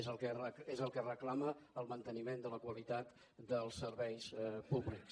és el que reclama el manteniment de la qualitat dels serveis públics